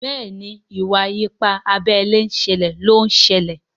Béèni Iwa-ipa abé ilé ṣẹlẹ ló ń ṣẹlẹ.